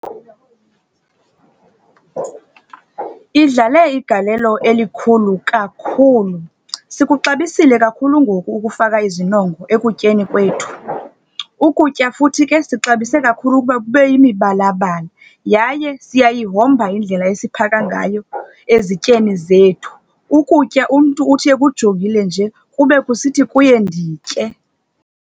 Idlale igalelo elikhulu kakhulu. Sikuxabisile kakhulu ngoku ukufaka izinongo ekutyeni kwethu. Ukutya futhi ke sixabise kakhulu ukuba kube yimibalabala, yaye siyayihomba indlela esiphaka ngayo ezityeni zethu. Ukutya umntu uthi ekujongile nje, kube kusithi kuye nditye.